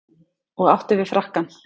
Og átti við frakkann.